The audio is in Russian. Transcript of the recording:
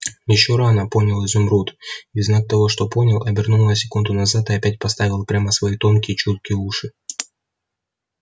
ещё рано понял изумруд и в знак того что понял обернул на секунду назад и опять поставил прямо свои тонкие чуткие уши